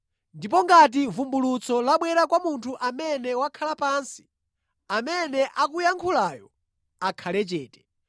Ndipo ngati vumbulutso labwera kwa munthu amene wakhala pansi, amene akuyankhulayo akhale chete.